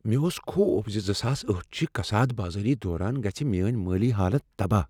مےٚ اوس خوف زِ زٕساس أٹھ چِہ کساد بازاری دوران گژھ میٲنۍ مٲلی حالت تباہ